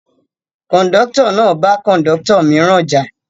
Kọ̀ńdọ́tọ̀ náà bá Kọ̀ńdọ́tọ̀ mìíràn jà.